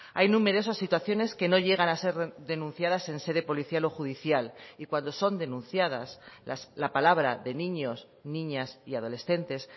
hay numerosas situaciones que no llegan a ser denunciadas en sede policial o judicial y cuando son denunciadas la palabra de niños niñas y adolescentes